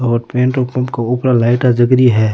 और petrol pump के उपरे लाइटा जग रही है।